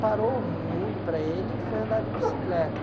Parou o mundo para ele e foi andar de bicicleta.